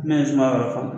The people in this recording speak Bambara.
Ne ye suma yɔrɔ fɔ